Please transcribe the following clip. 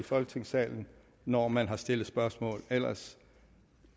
i folketingssalen når man har stillet spørgsmål ellers